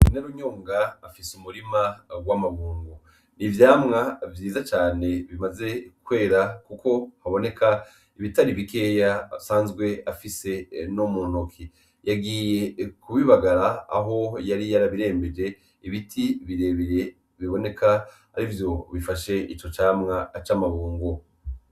Inarunyonga afise umurima w'amabungo, n'ivyamwa vyiza cane bimaze kwera kuko haboneka ibitari bikeya asanzwe afise no mu ntoki, yagiye kubibagara aho yari yarabirembeje ibiti birebire biboneka ari vyo bifashe ico camwa c'amabungo.